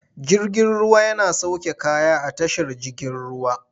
Jirgin ruwa yana sauke kaya a tashar jigin ruwa.